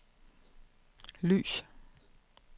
lys